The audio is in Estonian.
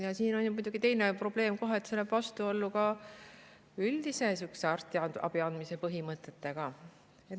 Ja siin on muidugi kohe teine probleem, et see läheb vastuollu ka üldise arstiabi andmise põhimõtetega.